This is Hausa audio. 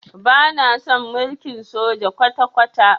Bana son mulkin soja kwata-kwata.